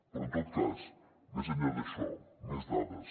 però en tot cas més enllà d’això més dades